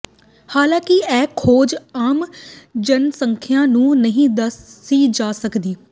ਹਾਲਾਂਕਿ ਇਹ ਖੋਜ ਆਮ ਜਨਸੰਖਿਆ ਨੂੰ ਨਹੀਂ ਦੱਸੀ ਜਾ ਸਕਦੀ